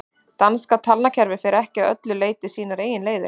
danska talnakerfið fer ekki að öllu leyti sínar eigin leiðir